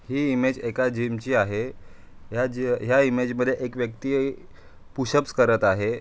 ही image एका gym ची आहे. या जी अह या इमेज मध्ये एक व्यक्ति पुशप्स करत आहे.